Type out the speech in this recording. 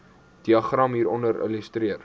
diagram hieronder illustreer